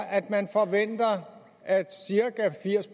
at man forventer at cirka firs